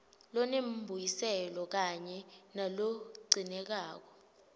lonembuyiselo kanye nalogcinekako